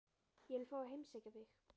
Ég vil fá að heimsækja þig.